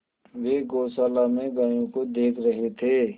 वे गौशाला में गायों को देख रहे थे